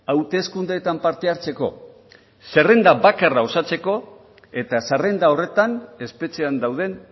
hauteskundeetan parte hartzeko zerrenda bakarra osatzeko eta zerrenda horretan espetxean dauden